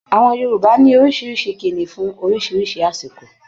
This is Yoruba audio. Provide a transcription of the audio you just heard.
Àwọn Yorùbá ní oríṣiríṣi ìkíni fún oríṣiríṣi àsìkò.